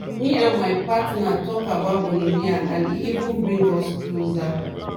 me and my partner talk about gonorrhea and e even bring us closer.